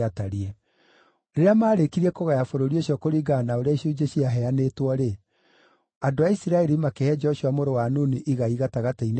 Rĩrĩa maarĩkirie kũgaya bũrũri ũcio kũringana na ũrĩa icunjĩ ciaheanĩtwo-rĩ, andũ a Isiraeli makĩhe Joshua mũrũ wa Nuni igai gatagatĩ-inĩ kao,